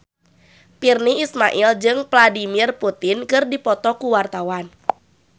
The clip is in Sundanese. Virnie Ismail jeung Vladimir Putin keur dipoto ku wartawan